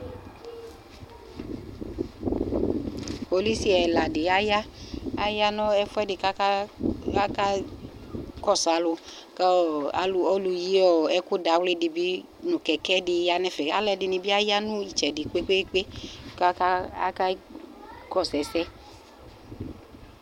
Kpolusi ɛla dɩ aya, aya nʋ ɛfʋ ɛdɩ kʋ akakɔsʋ alʋ, kʋ ɔlʋ yi ɛkʋ dawlɩ dɩ bɩ nʋ kɛkɛ dɩ ya nʋ ɛfɛ, alʋ ɛdɩnɩ bɩ ya nʋ ɩtsɛdɩ kpe-kpe-kpe kʋ akakɔsʋ ɛsɛ